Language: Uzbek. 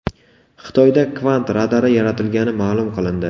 Xitoyda kvant radari yaratilgani ma’lum qilindi.